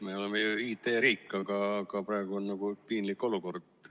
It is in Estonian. Me oleme ju IT-riik, aga praegu on nagu piinlik olukord.